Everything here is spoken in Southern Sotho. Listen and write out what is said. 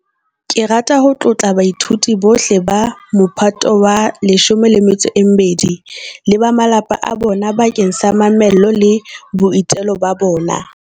Ke rata ho tlotla baithuti bohle ba Mophato wa 12 le ba malapa a bona bakeng sa mamello le boitelo ba bona.